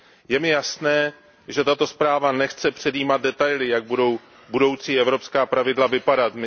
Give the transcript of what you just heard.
Je mi jasné, že tato zpráva nechce předjímat detaily, jak budou budoucí evropská pravidla vypadat.